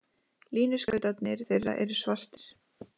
Línuskautarnir þeirra eru svartir.